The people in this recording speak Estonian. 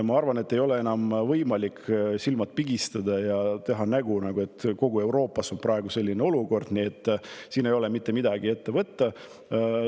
Ma arvan, et ei ole enam võimalik silmi pigistada ja teha nägu, et kogu Euroopas on praegu selline olukord ja siin pole ka võimalik mitte midagi ette võtta.